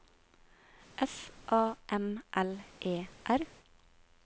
S A M L E R